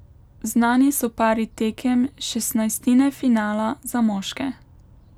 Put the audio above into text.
Znani so pari tekem šestnajstine finala za moške.